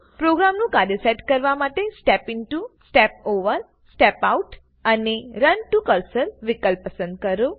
પ્રોગ્રામનું કાર્ય ટ્રેસ કરવા માટે step into step over step out અને run to કર્સર વિકલ્પ પસંદ કરો